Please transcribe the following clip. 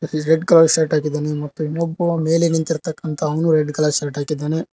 ಈ red colour shirt ಹಾಕಿದ್ದಾನೆ ಮತ್ತು ಇನ್ನೊಬ್ಬ ಮೇಲೆ ಮೇಲೆ ನಿಂತಿರ್ತಕ್ಕಂತ ಅವನು ರೆಡ್ ಕಲರ್ ಶರ್ಟ್ ಹಾಕಿದ್ದಾನೆ.